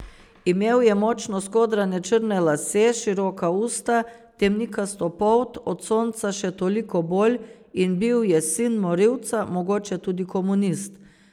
Imel je močno skodrane črne lase, široka usta, temnikasto polt, od sonca še toliko bolj, in bil je sin morilca, mogoče tudi komunist.